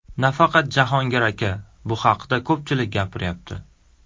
Nafaqat Jahongir aka, bu haqda ko‘pchilik gapiryapti.